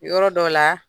Yɔrɔ dɔ la